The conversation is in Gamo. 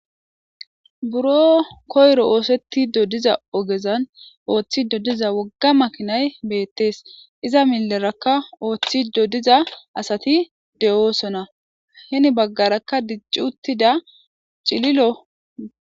Buro koyro oosettiddo diza ogezan ooththido diza wogga makinay beettees. Iza millerakka ooththido diza asati de7oosona. Hini baggarakka dicci uttida cililo.